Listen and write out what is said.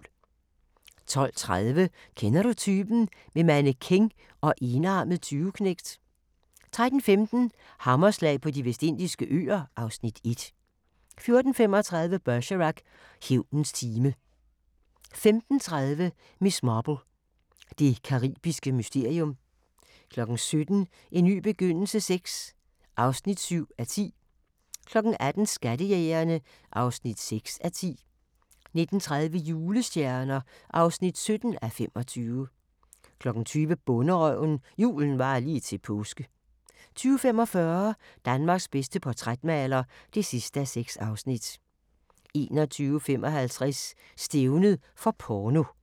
12:30: Kender du typen? - med mannequin og enarmet tyveknægt 13:15: Hammerslag på De Vestindiske Øer (Afs. 1) 14:35: Bergerac: Hævnens time 15:30: Miss Marple: Det caribiske mysterium 17:00: En ny begyndelse VI (7:10) 18:00: Skattejægerne (6:10) 19:30: Julestjerner (17:25) 20:00: Bonderøven – julen varer lige til påske 20:45: Danmarks bedste portrætmaler (6:6) 21:55: Stævnet for porno